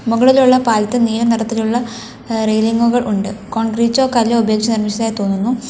മുകളിലുള്ള പാലത്തിൽ നീല നിറത്തിലുള്ള റെയിലിങ്ങുകൾ ഉണ്ട് കോൺക്രീറ്റോ കല്ലോ ഉപയോഗിച്ച് നിർമ്മിച്ചതായി തോന്നുന്നു.